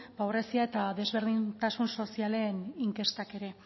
pobrezia eta desberdintasun sozialen inkestak ere